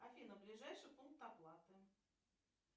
афина ближайший пункт оплаты